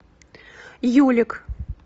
юлик